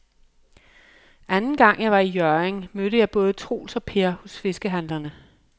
Anden gang jeg var i Hjørring, mødte jeg både Troels og Per hos fiskehandlerne.